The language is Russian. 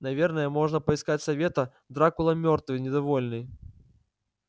наверное можно поискать совета дракула мёртвый недовольный